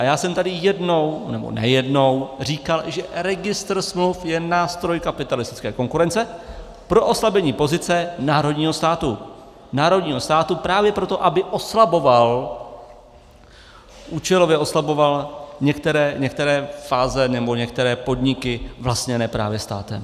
A já jsem tady jednou, nebo nejednou říkal, že registr smluv je nástroj kapitalistické konkurence pro oslabení pozice národního státu, národního státu, právě proto, aby oslaboval, účelově oslaboval některé fáze nebo některé podniky vlastněné právě státem.